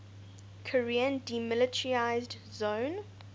korean demilitarized zone